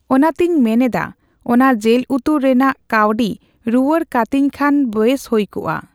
ᱚᱱᱟᱛᱮᱧ ᱢᱮᱱ ᱮᱫᱟ ᱚᱱᱟ ᱡᱤᱞ ᱩᱛᱩ ᱨᱮᱱᱟᱜ ᱠᱟᱣᱰᱤ ᱨᱩᱣᱟᱹᱲ ᱠᱟᱹᱛᱤᱧ ᱠᱷᱟᱱ ᱵᱮᱥ ᱦᱩᱭ ᱠᱚᱜᱼᱟ